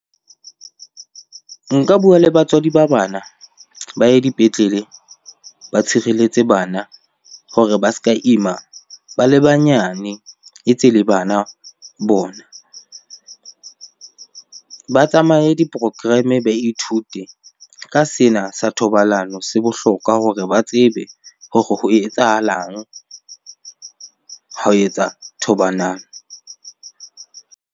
Nka bua le batswadi ba bana ba ye dipetlele, ba tshireletse bana hore ba se ka Ima ba le banyane e tse le bana bona. Ba tsamaye di-program-e, ba ithute ka sena sa thobalano. Se bohlokwa hore ba tsebe hore ho etsahalang ha o etsa .